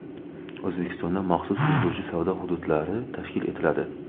O‘zbekistonda maxsus ulgurji savdo hududlari tashkil etiladi.